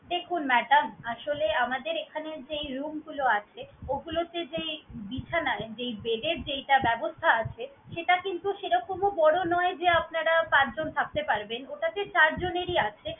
দেখুন madam আসলে আমাদের এইখানে যেই room গুলো আছে, ওগুলোতে যেই বিছানায় যেই bed এর যেইটা ব্যবস্থা আছে, সেটা কিন্তু সেইরকমও বড় নয় যে আপনারা পাঁচজন থাকতে পারবেন। ওটাতে চারজনেরই আছে।